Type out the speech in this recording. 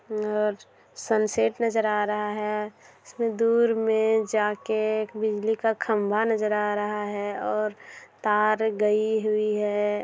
और सनसेट नजर आ रहा है। इसमें दूर में जा के एक बिजली का खंबा नजर आ रहा है और तार गई हुई है।